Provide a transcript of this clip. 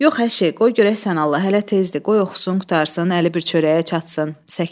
Yox əşi, qoy görək sən Allah, hələ tezdir, qoy oxusun qurtarsın, əli bir çörəyə çatsın.